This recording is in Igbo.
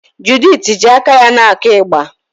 Judith ji aka ya na-akụ ịgbà.